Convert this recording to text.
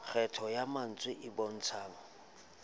kgetho ya mantswe e bontshang